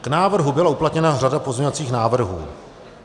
K návrhu byla uplatněna řada pozměňovacích návrhů.